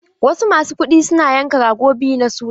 Wasu masu kuɗi suna yanka rago biyu na suna.